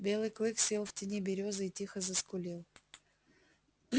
белый клык сел в тени берёзы и тихо заскулил